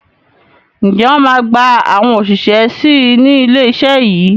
Ǹjẹ́ wọn máa gba àwọn òṣìṣẹ́ síí ni ilé iṣẹ́ yìí?